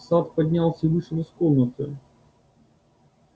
сатт поднялся и вышел из комнаты